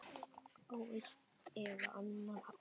Á einn eða annan hátt.